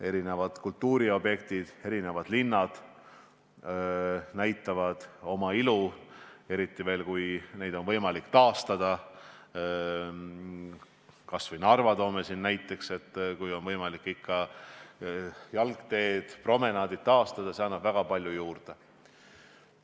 Sealsed kultuuriobjektid, linnad näitavad oma ilu, eriti veel siis, kui neid on võimalik taastada, kas või Narva – kui on ikka võimalik jalgteed, promenaadid taastada, siis see annab väga palju juurde.